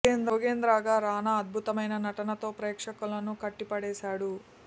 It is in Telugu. జోగేంద్ర గా రానా అద్భుతమైన నటన తో ప్రేక్షకులను కట్టి పడేసాడు